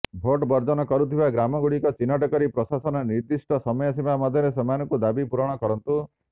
vote ବର୍ଜନ କରୁଥିବା ଗ୍ରାମଗୁଡ଼ିକ ଚିହ୍ନଟ କରି ପ୍ରଶାସନ ନିର୍ଦିଷ୍ଟ ସମୟସୀମା ମଧ୍ୟରେ ସେମାନଙ୍କୁ ଦାବି ପୂରଣ କରନ୍ତୁ